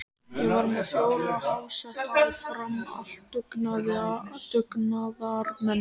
Ég var með fjóra háseta á Fram, allt dugnaðarmenn.